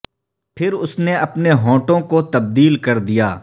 پھر اس نے اپنے ہونٹوں کو تبدیل کر دیا